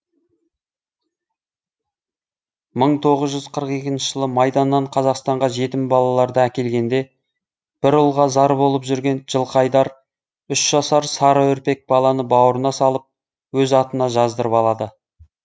мың тоғыз жүз қырық екінші жылы майданнан қазақстанға жетім балаларды әкелгенде бір ұлға зар болып жүрген жылқыайдар үш жасар сары үрпек баланы бауырына салып өз атына жаздырып алады